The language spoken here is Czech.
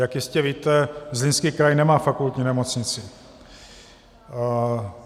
Jak jistě víte, Zlínský kraj nemá fakultní nemocnici.